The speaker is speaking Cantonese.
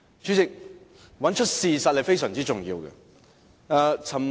主席，找出事實是非常重要的。